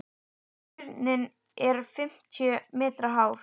Turninn er fimmtíu metra hár.